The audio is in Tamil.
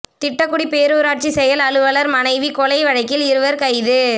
திட்டக்குடி பேரூராட்சி செயல் அலுவலா் மனைவி கொலை வழக்கில் இருவா் கைது